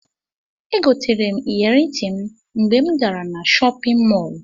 Egoterem iyeri ntim mgbe mu gara na shopin mọlụ.